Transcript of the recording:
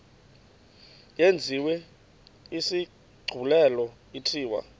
yenziwe isigculelo ithiwe